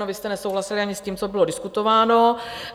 No vy jste nesouhlasili ani s tím, co bylo diskutováno.